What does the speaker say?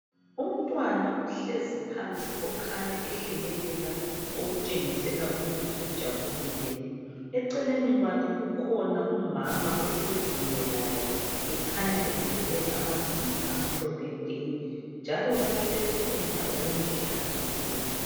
Umntwana ohlezi phansi , okhanya ehlekelela .Okutshengisela ukuthi ujabulile. Eceleni kwakhe kukhona umama ohleziyo laye ,ekhanya eveze amazinyo amhlophe nke .Njalo bahlezi endaweni ehlanzekileyo.